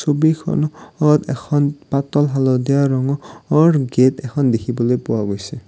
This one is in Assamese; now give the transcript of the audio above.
ছবিখন অত এখন পাতল হালধীয়া ৰঙ অৰ গেট এখন দেখিবলৈ পোৱা গৈছে।